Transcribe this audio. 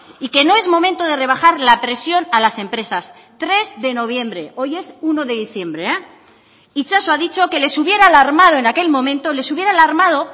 y que no es momento de rebajar la presión a las empresas tres de noviembre hoy es uno de diciembre itxaso ha dicho que les hubiera alarmado en aquel momento les hubiera alarmado